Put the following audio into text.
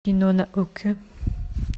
кино на окко